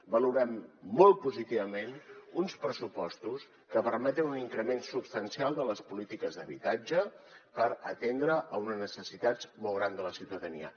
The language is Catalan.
valorem molt positivament uns pressupostos que permeten un increment substancial de les polítiques d’habitatge per atendre unes necessitats molt grans de la ciutadania